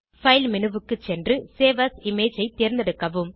file menuக்கு சென்று save as image ஐ தேர்ந்தெடுக்கவும்